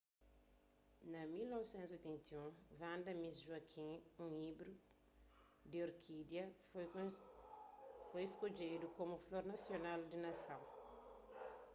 na 1981 vanda miss joaquim un íbridu di orkídia foi skodjedu komu flor nasional di nason